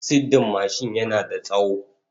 Siddin mashin yana da tsawo.